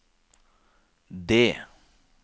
D